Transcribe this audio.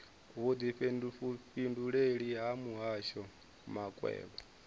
vhudifhinduleleli ha muhasho wa makwevho